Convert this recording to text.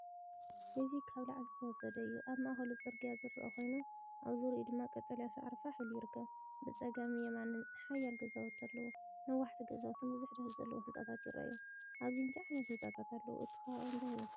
እዚ ካብ ላዕሊ ዝተወሰደ እዩ። ኣብ ማእከሉ ጽርግያ ዝረአ ኮይኑ ኣብ ዙርያኡ ድማ ቀጠልያ ሳዕሪ ፋሕ ኢሉ ይርከብ። ብጸጋምን የማንን ሓያሎ ገዛውቲ ኣለዉ፤ ነዋሕቲ ገዛውትን ብዙሕ ደርቢ ዘለዎ ህንጻታትን ይረኣዩ። ኣብዚ እንታይ ዓይነት ህንጻታት ኣለዉ? እቲ ከባቢ እንታይ ይመስል?